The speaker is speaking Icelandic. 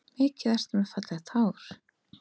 Mikið ertu með fallegt hár